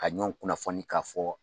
Ka ɲɔn kunnafoni k'a fɔ